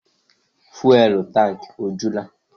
Fụ́élú tankị ọ jula?